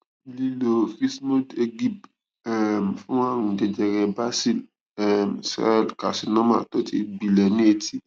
lílo vismodegib um fún àrùn jẹjẹrẹ basil um cell carcinoma tó ti gbilẹ ní etí